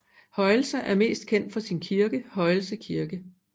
Højelse er mest kendt for sin kirke Højelse Kirke